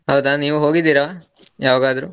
ಹೌದಾ, ನೀವು ಹೋಗಿದ್ದೀರಾ? ಯವಾಗದ್ರೂ.